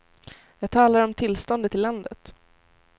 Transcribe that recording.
Jag talar om tillståndet i landet.